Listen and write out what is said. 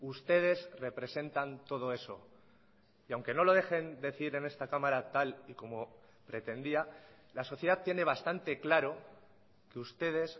ustedes representan todo eso y aunque no lo dejen decir en esta cámara tal y como pretendía la sociedad tiene bastante claro que ustedes